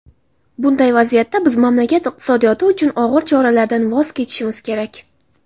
bunday vaziyatda biz mamlakat iqtisodiyoti uchun og‘ir choralardan voz kechishimiz kerak.